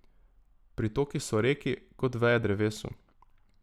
Pritoki so reki, kot veje drevesu...